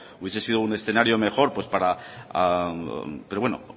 hubiese sido un escenario mejor para pero bueno